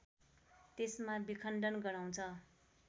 त्यसमा विखण्डन गराउँछ